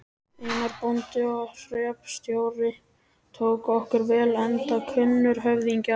Einar, bóndi og hreppstjóri, tók okkur vel enda kunnur höfðingi.